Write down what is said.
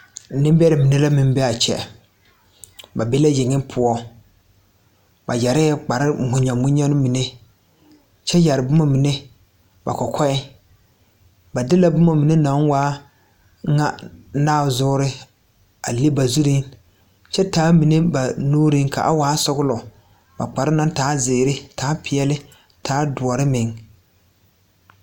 Nembɛrɛ mine la be a kyɛ ba be la yeŋe poɔ ba yɛrɛɛ kpare munyamunya kyɛ yɛre boma mine ba kɔkɔɛɛ ba de la boma mine naŋ waa ŋa nazoore a le ba zuriŋ kyɛ taa mine ba nuuriŋ ka waa sɔglɔ a kpare naŋ taa zeere a taa peɛle a taa doɔre meŋ.